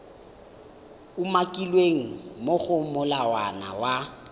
umakilweng mo go molawana wa